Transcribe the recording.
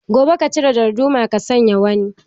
Gobe ka cire darduma ka sanya wani.